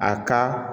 A ka